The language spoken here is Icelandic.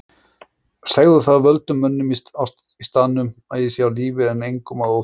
Segðu það völdum mönnum í staðnum að ég sé á lífi en engum að óþörfu.